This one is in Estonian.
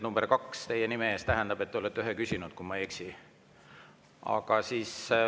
Number 2 teie nime ees tähendab seda, et te olete ühe küsinud, kui ma ei eksi.